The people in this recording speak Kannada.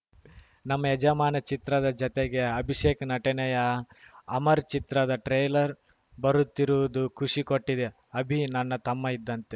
ನಮ್ಮ ಯಜಮಾನ ಚಿತ್ರದ ಜತೆಗೆ ಅಭಿಷೇಕ್‌ ನಟನೆಯ ಅಮರ್‌ ಚಿತ್ರದ ಟ್ರೇಲರ್‌ ಬರುತ್ತಿರುವುದು ಖುಷಿ ಕೊಟ್ಟಿದೆ ಅಭಿ ನನ್ನ ತಮ್ಮ ಇದ್ದಂತೆ